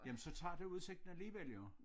Jamen så tager det udsigten alligevel jo